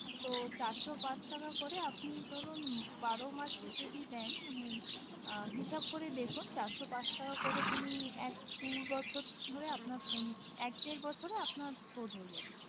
তো চার সো ক এক টাকা করে আপনি ধরুন বারো মাসে যদি নেন মানে হিসাব করে দেখুন চার সো পাঁচ টাকা করে এক দু বছর ধরে আপনার এক দেড় বছরে আপনার শোধ হয়ে যাবে